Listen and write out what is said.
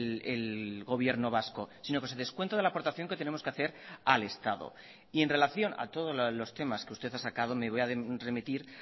el gobierno vasco sino que se descuenta de la aportación que tenemos que hacer al estado y en relación a todos los temas que usted ha sacado me voy a remitir